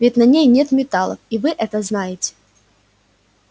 ведь на ней нет металлов и вы это знаете